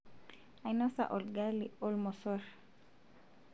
ainosa olgali olmosorr